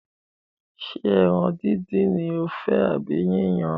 Ṣé ẹran díndín ni o fẹ́ àbí yíyan?